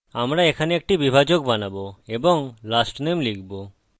আমরা এখানে একটি বিভাজক বানাবো এবং lastname লিখব